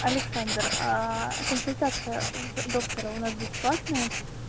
александр консультация в доктора у нас бесплатная